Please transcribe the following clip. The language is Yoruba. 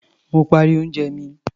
Mo parí oúnjẹ mi.